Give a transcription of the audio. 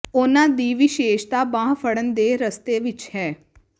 ਉਨ੍ਹਾਂ ਦੀ ਵਿਸ਼ੇਸ਼ਤਾ ਬਾਂਹ ਫੜਨ ਦੇ ਰਸਤੇ ਵਿਚ ਹੈ